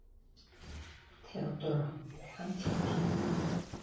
THEODÓRA: Hann féll!